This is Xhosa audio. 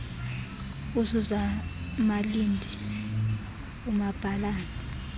usuzan malindi umabhalane